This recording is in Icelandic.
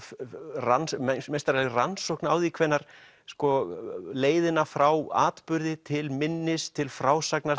rannsókn meistaraleg rannsókn á því hvenær leiðina frá atburði til minnis til frásagnar